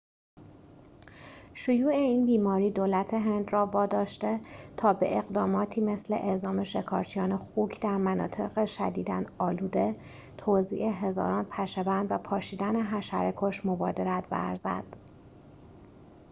شیوع این بیماری دولت هند را واداشته تا به اقداماتی مثل اعزام شکارچیان خوک در مناطق شدیداً آلوده توزیع هزاران پشه‌بند و پاشیدن حشره‌کش مبادرت ورزد